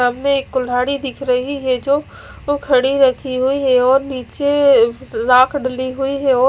सामने एक कुल्हाड़ी दिख रही है जो खड़ी रखी हुई है और निचे राख डली हुई है और--